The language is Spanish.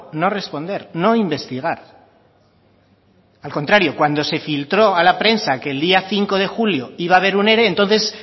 no responder no investigar al contrario cuando se filtró a la prensa que el día cinco de julio iba a ver un ere entonces